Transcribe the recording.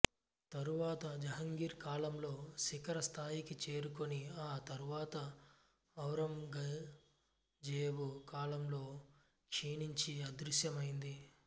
తరువాత జహంగీర్ కాలంలో శిఖర స్థాయికి చేరుకొని ఆ తరువాత ఔరంగజేబు కాలంలో క్షీణించి అదృశ్యమైంది